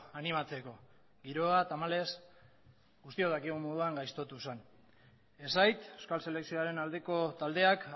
animatzeko giroa tamalez guztion dakigun moduan gaiztotu zen esait euskal selekzioaren aldeko taldeak